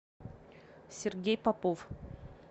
сергей попов